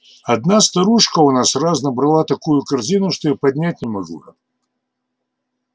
одна старушка у нас раз набрала такую корзину что и поднять не могла